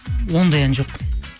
ондай ән жоқ